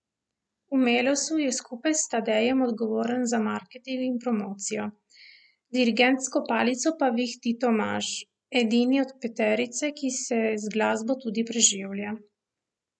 V Melosu je skupaj s Tadejem odgovoren za marketing in promocijo, dirigentsko palico pa vihti Tomaž, edini od peterice, ki se z glasbo tudi preživlja.